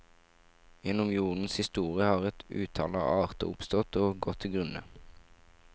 Gjennom jordens historie har et utall av arter oppstått og gått til grunne.